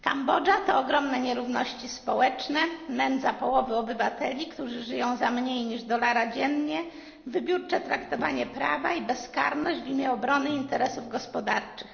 Kambodża to ogromne nierówności społeczne, nędza połowy obywateli, którzy żyją za mniej niż dolara dziennie, wybiórcze stosowanie prawa i bezkarność w imię obrony interesów gospodarczych.